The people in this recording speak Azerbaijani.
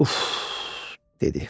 Uff, dedi.